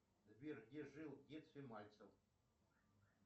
сбер где жил в детстве мальцев